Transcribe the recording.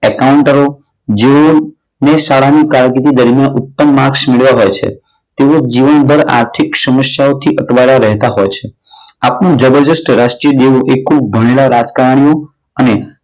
એકાઉન્ટરો જે હોય એ શાળાની કારકિર્દી દરમિયાન માર્કસ મેળવ્યા હોય છે. તેઓ જીવન પર આર્થિક સમસ્યાઓથી અટવાયેલા હોય છે. આપણું જબરજસ્ત રાષ્ટ્રીય દેવું એ ખૂબ ભણેલા રાજકારણીઓ અને